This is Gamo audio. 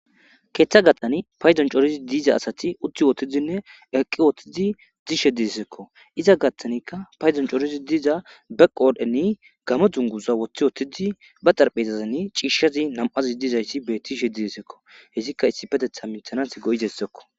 Keeththa gattani payzon corozi diiza asati utti wotidinne eqqi wottidi dishe diesseekko iza gattanikka payzon coorozi diiza beqqoodheni gamo dunguza woththi wotidi ba xarphezazan ciishshazi nam7azi diizayssi bettishe didessekko hessikka issi petetha minthanas go7izessekko.